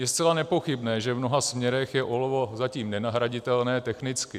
Je zcela nepochybné, že v mnoha směrech je olovo zatím nenahraditelné technicky.